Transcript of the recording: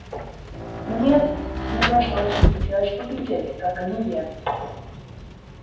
мне мне просто очень хотелось поглядеть как они едут